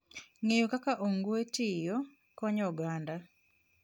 Ng'eyo kaka ong'we tiyo konyo oganda.